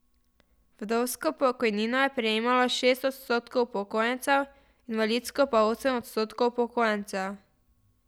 Vdovsko pokojnino je prejemalo šest odstotkov upokojencev, invalidsko pa osem odstotkov upokojencev.